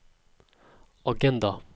agenda